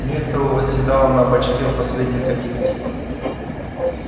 миртл восседала на бачке в последней кабинке